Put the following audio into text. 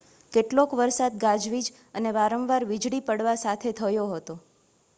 કેટલોક વરસાદ ગાજવીજ અને વારંવાર વીજળી પડવા સાથે થયો હતો